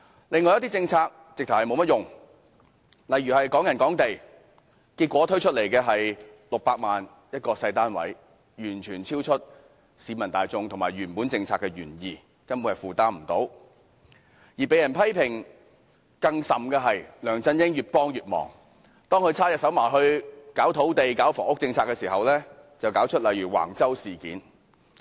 另外一些政策更是毫無用處，例如"港人港地"，結果推出來的是600萬元一個小單位，完全超出市民大眾和原本政策的原意，根本是無人負擔得起；而被人批評得更甚的是梁振英越幫越忙，當他插手搞土地、房屋政策時，便搞出如橫洲事件等。